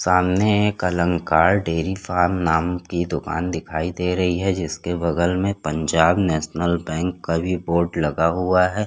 सामने एक Alankar dairy farm नाम की दुकान दिखाई दे रही है जिसके बगल में पंजाब नेशनल बैंक का भी बोर्ड लगा हुआ हैं।